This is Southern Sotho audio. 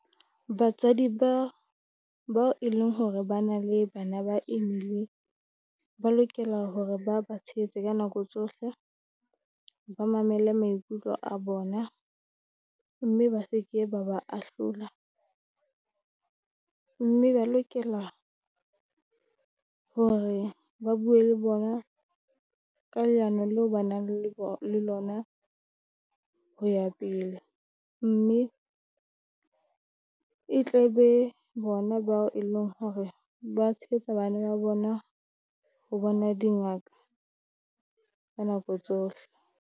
Batswadi ba bao e leng hore ba na le bana ba imile, ba lokela hore ba ba tshehetse ka nako tsohle. Ba mamele maikutlo a bona, mme ba se ke ba ba ahlola, mme ba lokela hore ba bue le bona ka leano leo ba nang le bo le lona ho ya pele. Mme e tle be bona bao e leng hore ba tshehetsa bana ba bona ho bona dingaka ka nako tsohle.